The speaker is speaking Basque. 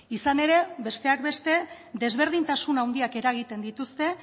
izan ere besteak beste desberdintasun handiak eragiten dituzte